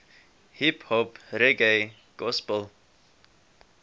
hiphop reggae gospel